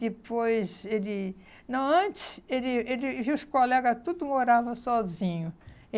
Depois, ele... Não, antes, ele ele e os colegas todos moravam sozinhos.